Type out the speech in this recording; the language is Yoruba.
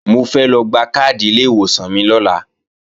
Mo fẹ́ lọ gba káàdì ilé ìwòsàn mi lọ́la